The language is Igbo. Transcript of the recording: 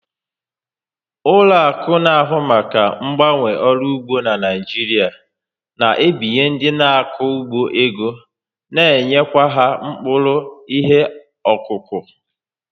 Ụlọakụ n'ahụ maka gbawanye ọrụ ugbo n'Naijiria na ebinye ndị n'ako ugbo ego na enyekwa ha mkpụrụ ihe okuku